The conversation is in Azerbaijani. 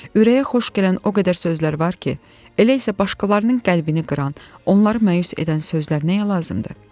Ürəyə xoş gələn o qədər sözlər var ki, elə isə başqalarının qəlbini qıran, onları məyus edən sözlər nəyə lazımdır?